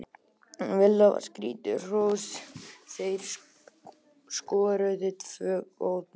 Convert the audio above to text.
Villa á skilið hrós, þeir skoruðu tvö góð mörk.